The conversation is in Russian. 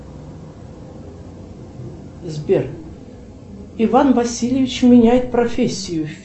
сбер иван васильевич меняет профессию